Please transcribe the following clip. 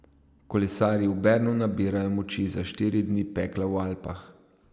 Kolesarji v Bernu nabirajo moči za štiri dni pekla v Alpah.